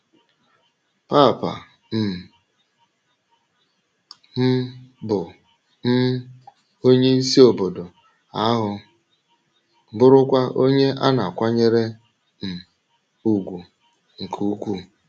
Pàpà um m bụ um onye isi obodo ahụ, bụrụkwa onye a na-akwànyèrè um ùgwù nke ukwuu.